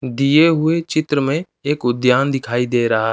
दिए हुए चित्र में एक उद्द्यान दिखाई दे रहा--